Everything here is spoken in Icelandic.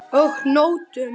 Og nóttum!